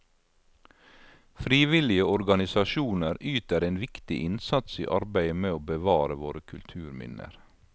Frivillige organisasjoner yter en viktig innsats i arbeidet med å bevare våre kulturminner.